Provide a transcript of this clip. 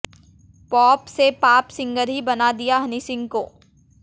pop से पाप singer ही बना दिया हनी सिंह को